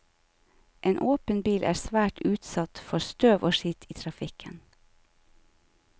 En åpen bil er svært utsatt for støv og skitt i trafikken.